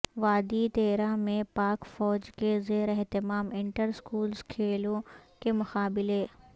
وادی تیراہ میں پاک فوج کے زیر اہتمام انٹر سکولز کھیلوں کے مقابلے